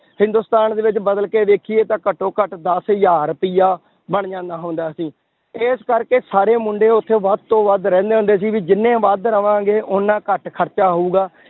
ਹਿੰਦੁਸਤਾਨ ਦੇ ਵਿੱਚ ਬਦਲ ਕੇ ਦੇਖੀਏ ਤਾਂ ਘੱਟੋ ਘੱਟ ਦਸ ਹਜ਼ਾਰ ਰੁਪਇਆ ਬਣ ਜਾਂਦਾ ਹੁੰਦਾ ਸੀ, ਇਸ ਕਰਕੇ ਸਾਰੇ ਮੁੰਡੇ ਉੱਥੇ ਵੱਧ ਤੋਂ ਵੱਧ ਰਹਿੰਦੇ ਹੁੰਦੇ ਸੀ ਵੀ ਜਿੰਨੇ ਵੱਧ ਰਵਾਂਗੇ ਓਨਾ ਘੱਟ ਖਰਚਾ ਹੋਊਗਾ